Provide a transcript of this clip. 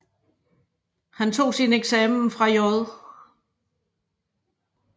Han tog sin eksamen fra J